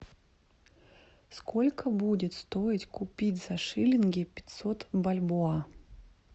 сколько будет стоить купить за шиллинги пятьсот бальбоа